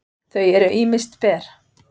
þau eru ýmist ber